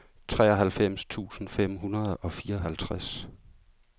treoghalvfems tusind fem hundrede og fireoghalvtreds